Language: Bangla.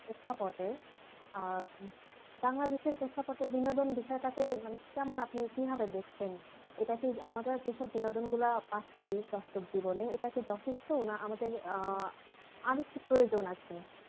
প্রেক্ষাপটে আহ বাংলাদেশের প্রেক্ষাপটে বিনোদন বিষয়টাকে মানে কেমন আপনি কিভাবে দেখছেন এটা কি আমাদের যেসব বিনোদন গুলা পাচ্ছি বাস্তব জীবনে এটা কি যথেষ্ট না আমাদের আহ আর একটু প্রয়োজন আছে